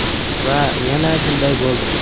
Va yana shunday bo‘ldi.